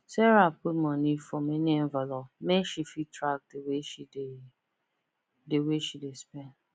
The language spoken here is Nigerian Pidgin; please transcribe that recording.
sarah put money for many envelope make she fit track the way she the way she dey spend